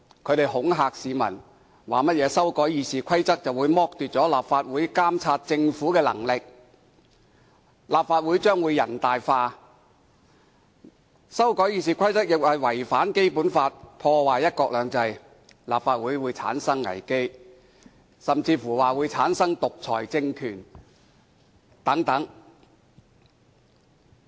他們恐嚇市民，指修改《議事規則》會剝奪立法會監察政府的權力，立法會將會"人大化"，又聲稱修改《議事規則》違反《基本法》，破壞"一國兩制"，立法會會出現危機，甚至說香港會產生獨裁政權。